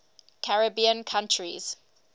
caribbean countries